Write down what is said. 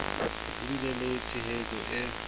ho bile le tshehetso e